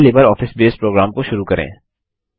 पहले LibreOffice base program को शुरू करें